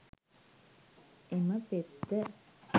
එම පෙත්ත